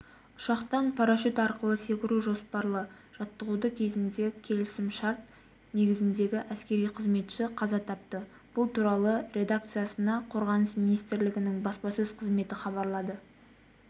ұшақтан парашют арқылы секіру жоспарлы жаттығуы кезінде келісім-шарт негізіндегі әскери қызметші қаза тапты бұл туралы редакциясына қорғаныс министрлігінің баспасөз қызметі хабарлады